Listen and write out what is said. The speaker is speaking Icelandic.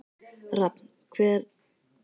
Rafn, hvar er dótið mitt?